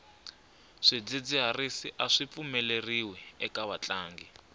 swidzidziharisi aswi pfumeleriwi eka vatlangi